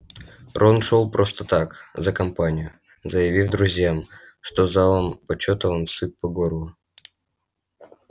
рон шёл просто так за компанию заявив друзьям что залом почёта он сыт по горло